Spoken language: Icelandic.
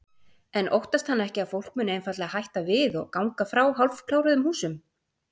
En óttast hann ekki að fólk muni einfaldlega hætta við og ganga frá hálfkláruðum húsum?